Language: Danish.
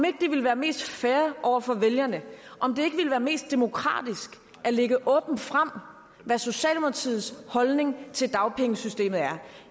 ikke ville være mest fair over for vælgerne om det ikke ville være mest demokratisk at lægge åbent frem hvad socialdemokratiets holdning til dagpengesystemet er